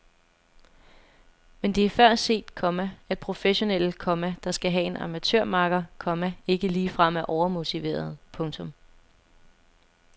Men det er før set, komma at professionelle, komma der skal have en amatørmakker, komma ikke ligefrem er overmotiverede. punktum